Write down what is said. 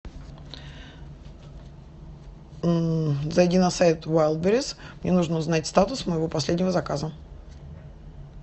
зайди на сайт уалдберриз мне нужно узнать статус моего последнего заказа